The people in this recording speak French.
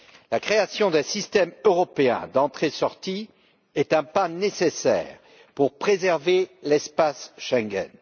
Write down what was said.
La création d'un système européen d'entrée sortie est un pas nécessaire pour préserver l'espace Schengen.